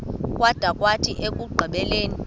kwada kwathi ekugqibeleni